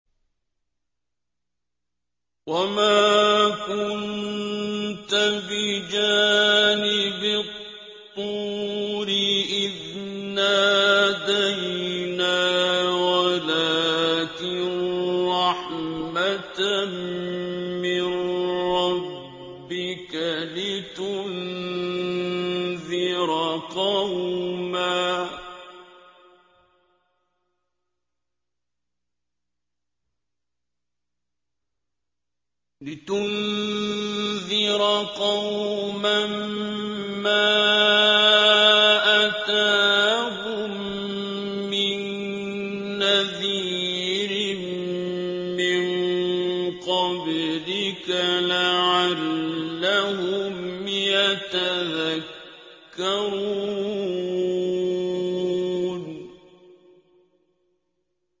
وَمَا كُنتَ بِجَانِبِ الطُّورِ إِذْ نَادَيْنَا وَلَٰكِن رَّحْمَةً مِّن رَّبِّكَ لِتُنذِرَ قَوْمًا مَّا أَتَاهُم مِّن نَّذِيرٍ مِّن قَبْلِكَ لَعَلَّهُمْ يَتَذَكَّرُونَ